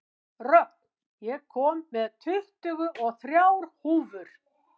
Rögn, ég kom með tuttugu og þrjár húfur!